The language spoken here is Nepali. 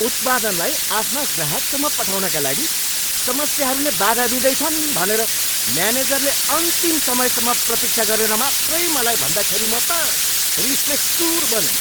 उत्पादनलाई आफ्ना ग्राहकसम्म पठाउनका लागि समस्याहरूले बाधा दिँदैछन् भनेर म्यानेजरले अन्तिम समयसम्म प्रतीक्षा गरेर मात्रै मलाई भन्दाखेरि म त रिसले चुर बनेँ।